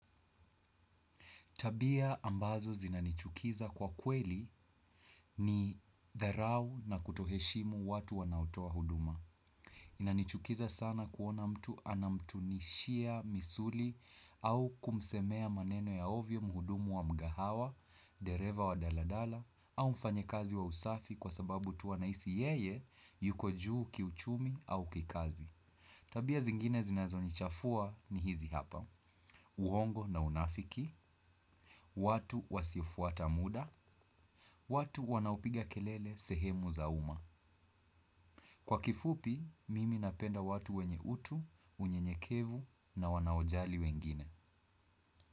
Tabia ambazo zinanichukiza kwa kweli ni dharau na kutoheshimu watu wanaotoa huduma. Inanichukiza sana kuona mtu anamtunishia misuli au kumsemea maneno ya ovyo muhudumu wa mgahawa, dereva wa daladala, au mfanyakazi wa usafi kwa sababu tu anahisi yeye yuko juu kiuchumi au kikazi. Tabia zingine zinazo nichafua ni hizi hapa. Uongo na unafiki. Watu wasiofuata muda watu wanaopiga kelele sehemu za uma. Kwa kifupi, mimi napenda watu wenye utu, unyenyekevu na wanaojali wengine.